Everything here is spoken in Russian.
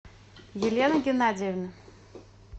елена геннадьевна